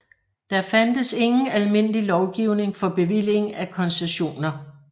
Der fandtes ingen almindelig lovgivning for bevilling af koncessioner